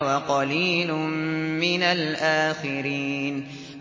وَقَلِيلٌ مِّنَ الْآخِرِينَ